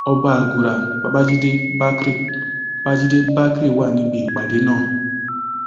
ọba àgùrà babàjídé bákrè babàjídé bákrè wà níbi ìpàdé náà